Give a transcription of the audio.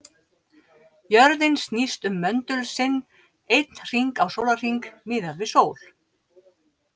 Jörðin snýst um möndul sinn einn hring á sólarhring, miðað við sól.